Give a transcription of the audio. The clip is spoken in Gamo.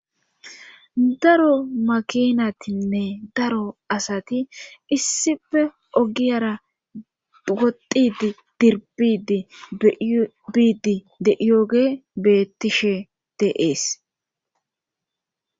Daro makinatinne daro asati issife ogiyara wodid dirbidi biidi de yooge bettishe deees